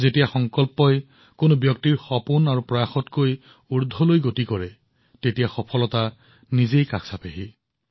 যেতিয়া এজনৰ সংকল্প তেওঁৰ প্ৰচেষ্টা তেওঁৰ সপোনতকৈ ডাঙৰ হয় তেতিয়া সাফল্য নিজে বাট বুলি তেওঁৰ ওচৰলৈ আহে